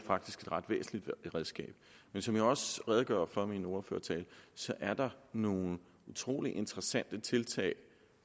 ret væsentligt redskab som jeg også redegjorde for i min ordførertale er der nogle utrolig interessante tiltag